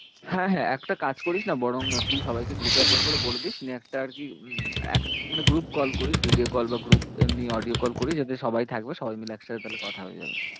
হ্যাঁ হ্যাঁ একটা কাজ করিস না বরং তুই সবাইকে group এ একবার করে বলবি। একটা আরকি উম এক মানে group কল করিস video কল বা group এমনি audio কল করিস যাতে সবাই থাকবে সবাই মিলে একসাথে তাহলে কথা হয়ে যাবে।